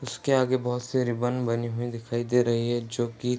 उसके आगे बहोत से रिबन बने हुए दिखाई दे रही है जोकि --